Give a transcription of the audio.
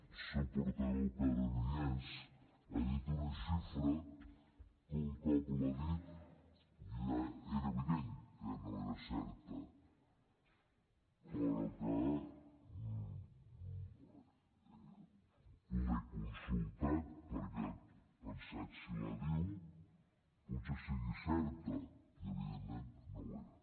el seu portaveu que ara no hi és ha dit una xifra que un cop l’ha dit era evident que no era certa però l’he consultat perquè he pensat si la diu pot ser que sigui certa i evidentment no ho era